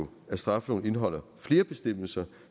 jo at straffeloven indeholder flere bestemmelser